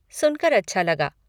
सुनकर अच्छा लगा।